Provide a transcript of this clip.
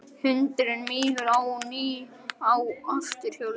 Hundurinn mígur á ný á afturhjólið.